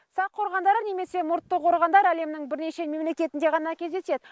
сақ қорғандары немесе мұртты қорғандар әлемнің бірнеше мемлекетінде ғана кездеседі